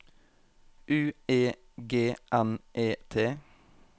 U E G N E T